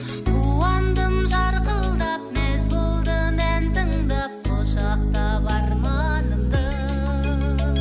қуандым жарқылдап мәз болдым ән тыңдап құшақтап арманымды